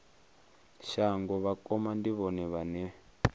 shango vhakoma ndi vhone vhane